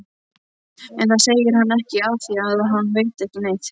En það segir hann ekki afþvíað hann veit ekki neitt.